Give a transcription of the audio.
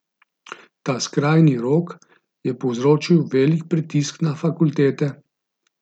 Ta skrajni rok je povzročil velik pritisk na fakultete.